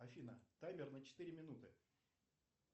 афина таймер на четыре минуты